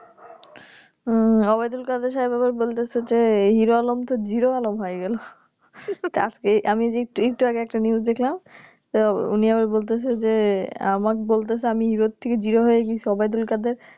হম Waidulkadersaab আবার বলতেছে যে এই Heroalom তো Zero Alom হয়ে গেলো . আমি যে একটুআগে একটা News দেখলাম তো উনি আবার বলছে যে আমার বলছে যে আমি Hero থেকে Zero হয়ে গেছি Waidulkader